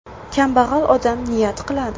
Kambag‘al odam niyat qiladi.